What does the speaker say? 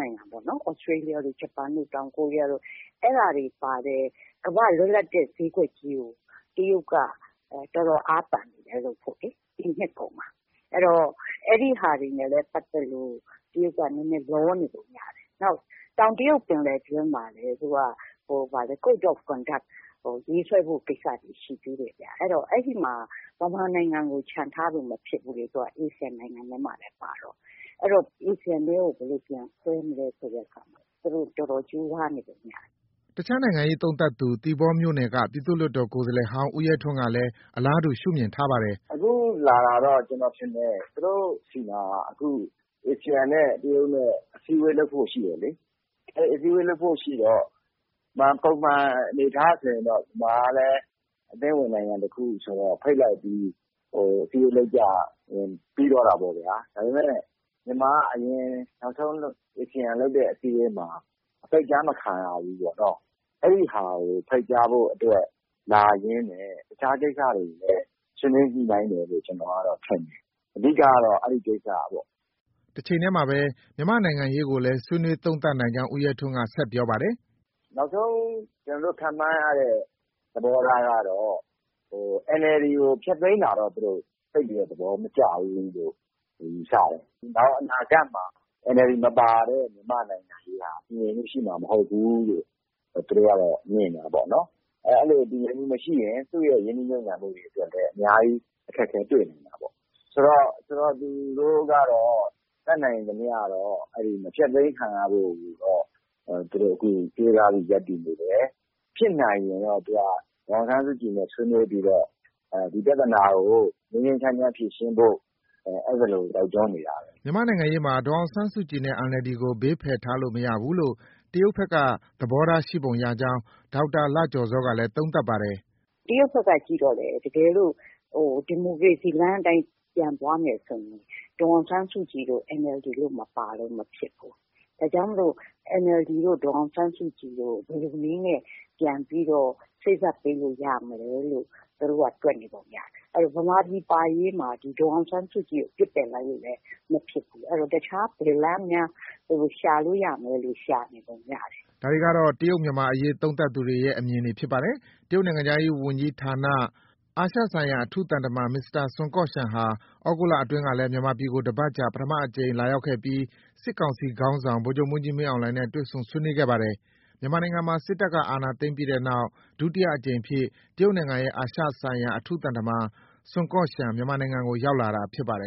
နိုင်ငံပေါ့။ သြစတေလျတို့၊ ဂျပန်တို့၊ တောင်ကိုရီးယားတို့ အဲဒါတွေပါတဲ့ ကမ္ဘာ့ လွတ်လပ်တဲ့ ဈေးကွက်ကြီးကို တရုတ်က တော်တော်အားသန်နေတယ်။ လုပ်ဖို့ကိုလေ။ ဒီနှစ်ကုန်မှာ။ အဲဒီဟာတွေနဲ့လည်း ပတ်သက်လို့ တရုတ်က နည်းနည်း လောနေပုံရတယ်။ နောက် တောင်တရုတ်ပင်လယ်တွင်းမှာလည်း သူက Code of Conduct ရေးဆွဲဖို့ ကိစ္စတွေ ရှိသေးတယ်ဗျ။ အဲတော့ အဲဒီမှာ မြန်မာနိုင်ငံကို ချန်ထားလို့ မဖြစ်ဘူးလေ။ သူက ASEAN နိုင်ငံထဲမှာလည်း ပါတော့။ အဲတော့ ASEAN ထဲကို ဘယ်လိုပြန်ဆွဲမလဲဆိုတဲ့အခါမှာ သူတို့ တော်တော်ကြိုးစားနေပုံရတယ်။” အခြားနိုင်ငံရေးသုံးသပ်သူ သီပေါမြို့နယ်က ပြည်သူ့လွှတ်တော်ကိုယ်စားလှယ်ဟောင်း ဦးရဲထွန်းကလည်း အလားတူ ရှုမြင်ထားပါတယ်။ “အခုလာတာကတော့ ကျနော်ထင်တယ်။ သူတို့ဆီမှာ အခု ASEAN နဲ့ တရုတ်နဲ့ အစည်းအဝေးလုပ်ဖို့ ရှိတယ်လေ။ အဲဒီအစည်းအဝေးလုပ်ဖို့ ရှိတော့ ပုံမှန်အနေအထားဆိုရင်တော့ မြန်မာကလည်း အသင်းဝင်နိုင်ငံတခုဆိုတော့ ဖိတ်လိုက်ပြီး အစည်းအဝေးလုပ်ကြရင် ပြီးသွားတာပေါ့ဗျ။ ဒါပေမဲ့ မြန်မာက နောက်ဆုံး ASEAN လုပ်တဲ့အစည်းအဝေးမှာ ဖိတ်ကြား မခံရဘူးပေါ့နော်။ အဲဒီဟာကို ဖိတ်ကြားဖို့ အတွက် လာရင်းနဲ့ တခြား ကိစ္စတွေကိုလည်း ဆွေးနွေးညှိနှိုင်းတယ်လို့ ထင်တယ်။ အဓိကကတော့ အဲဒီကိစ္စပေါ့။ ” တချိန်တည်းမှာ မြန်မာနိုင်ငံရေးကိုလည်း ဆွေးနွေးသုံးသပ်နိုင်ကြောင်း ဦးရဲထွန်းက ဆက်ပြောပါတယ်။ “နောက်ဆုံး ကျနော်တို့ ခန့်မှန်းရတဲ့သဘောထားကတော့ NLD ကို ဖျက်သိမ်းတာတော့ သူတို့ သိပ်သဘောမကျဘူးလို့ ယူဆတယ်။ နောင် အနာဂတ်မှာ NLD မပါတဲ့ မြန်မာနိုင်ငံရေးဟာ တည်ငြိမ်မှုရှိမှာ မဟုတ်ဘူးလို့ သူတို့ ကတော့ မြင်တယ်ပေါ့နော်။ အဲလို တည်ငြိမ်မှုမရှိရင် သူရဲ့ ရင်းနှီးမြှုပ်နှံမှုအတွက်လည်း အများကြီး အခက်အခဲတွေ့နိုင် တာပေါ့။ ဆိုတော့ သူတို့ကတော့ တတ်နိုင်သမျှတော့ မဖျက်သိမ်းခံရဖို့ကိုတော့ သူတို့ ကြိုးစားပြီး ရပ်တည်နေတယ်။ ဖြစ်နိုင်ရင်တော့ သူက ဒေါ်အောင်ဆန်းစုကြည်နဲ့ ဆွေးနွေးပြီးတော့ ဒီပြဿနာကို ငြိမ်းငြိမ်းချမ်းချမ်းဖြေရှင်းဖို့ အဲသလို တိုက်တွန်းနေတာပဲ။” မြန်မာ့နိုင်ငံရေးမှာ ဒေါ်အောင်ဆန်းစုကြည်နဲ့ NLD ကိုဘေးဖယ်ထားလို့ မရဘူးလို့ တရုတ်ဘက်က သဘောထားရှိပုံရကြောင်း ဒေါက်တာလှကျော်ဇောကလည်း သုံးသပ်ပါတယ်။ “တရုတ်ဘက်က ကြည့်တော့လည်း တကယ်လို့ ဒီမိုကရေစီလမ်းအတိုင်း ပြန်သွားမယ် ဆိုရင် ဒေါ်အောင်ဆန်းစုကြည်တို့၊ NLD တို့ မပါလို့ မဖြစ်ဘူး။ ဒါကြောင့်မို့ NLD တို့၊ ဒေါ်အောင်ဆန်းစုကြည်တို့ ဘယ်လိုနည်းနဲ့ ပြန်ပြီးတော့ စေ့စပ်ပေးလို့ရမလဲလို့ သူတို့က တွက်နေပုံရတယ်။ အဲတော့ ဗမာပြည်ပါရေးမှာ ဒေါ်အောင်ဆန်းစုကြည်ကို ပစ်ပယ်လိုက်လို့လည်း မဖြစ်ဘူး။ အဲတော့ တခြား ဘယ်လမ်းများ ရှာလို့ရမလဲလို့ ရှာနေပုံရတယ်။” ဒါတွေကတော့ တရုတ်မြန်မာအရေးသုံးသပ်သူတွေရဲ့ အမြင်ဖြစ်ပါတယ်။ တရုတ်နိုင်ငံခြားရေးဝန်ကြီးဌာန အာရှဆိုင်ရာအထူးသံတမန် မစ္စတာ စွန်ကော့ရှန်ဟာ သြဂုတ်လအတွင်းကလည်း မြန်မာပြည်ကို တစ်ပတ်ကြာ ပထမအကြိမ် လာရောက်ခဲ့ပြီး စစ်ကောင်စီခေါင်းဆောင် ဗိုလ်ချုပ်မှူးကြီး မင်းအောင်လှိုင်နဲ့ တွေ့ဆုံဆွေးနွေးခဲ့ပါတယ်။ မြန်မာနိုင်ငံမှာ စစ်တပ်အာဏာသိမ်းပြီးနောက် ဒုတိယအကြိမ်အဖြစ် တရုတ်နိုင်ငံရဲ့ အာရှဆိုင်ရာ အထူးသံတမန် စွန်ကော့ရှန် မြန်မာနိုင်ငံကို လာရာက်တာဖြစ်ပါတယ်